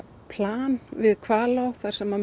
plan við Hvalá þar sem